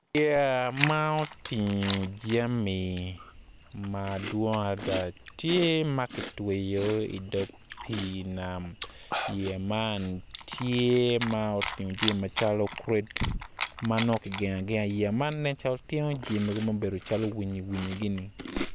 Yeya ma otingo jami madwong tye ma ki tweyo i dog pii nam yeya man tye ma otingo jami macalo kured ma nongo ki gengo agenga i yeya man nen calo tingo jami mogo calo winyi winyi gini